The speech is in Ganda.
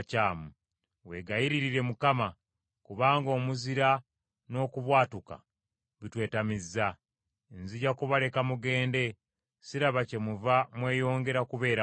Weegayirire Mukama ; kubanga omuzira n’okubwatuka bitwetamizza. Nzija kubaleka mugende; siraba kyemuva mweyongera kubeera wano.”